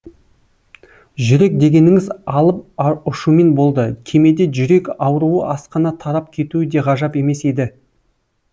жүрек дегеніңіз алып ұшумен болды кемеде жүрек ауруы асқына тарап кетуі де ғажап емес еді